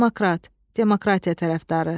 Demokrat, demokratiya tərəfdarı.